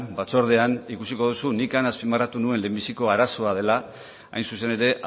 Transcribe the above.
batzordean ikusiko duzu nik han azpimarratu nuen lehenbiziko arazoa dela hain zuzen ere